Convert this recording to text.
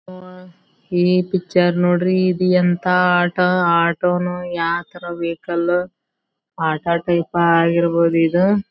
ಈ ಪಿಕ್ಚರ್ ನೋಡ್ರಿ ಈದ್ ಎಂತ ಆಟ ಆಟೋನು ಯಾವ್ ತರ ವೆಹಿಕಲ್ ಆಟ ಟೈಪ್ ಆಗಿರಬಹುದು ಇದ್.